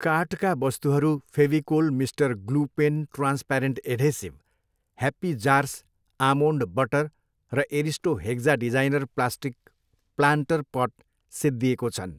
कार्टका वस्तुहरू Fevicol mister glue pen transparent adhesive, happy jars almond butter र Aristo hexa designer plastic planter pot सिद्धिएको छन्